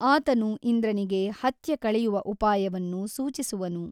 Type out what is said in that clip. ಆತನು ಇಂದ್ರನಿಗೆ ಹತ್ಯೆ ಕಳೆಯುವ ಉಪಾಯವನ್ನು ಸೂಚಿಸುವನು.